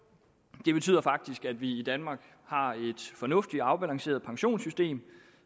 det betyder faktisk at vi i danmark har et fornuftigt og afbalanceret pensionssystem